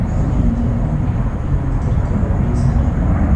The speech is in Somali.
Waxaan jeclaan lahaa inaan tirtiro liiska dhexe